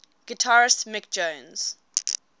guitarist mick jones